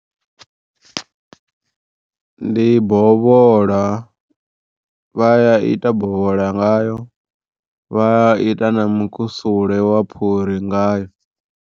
Ndi bovhola vha ya ita bovhola ngayo vha ya ita na mukusule wa phuri nga yo.